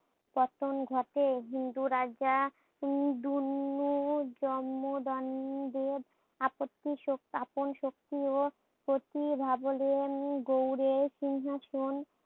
পতন ঘটে হিন্দু রাজা দুননু জম্মদান দেব আপত্তি সো আপন শক্তি ও গৌড়ের সিংহাসন